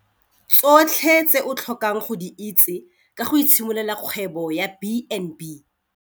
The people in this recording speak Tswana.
Tsotlhe tse o tlhokang go di itse ka go itshimololela kgwebo ya B and B.